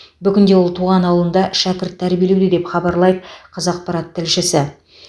бүгінде ол туған ауылында шәкірт тәрбиелеуде деп хабарлайды қазақпарат тілшісі